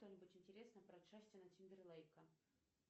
что нибудь интересное про джастина тимберлейка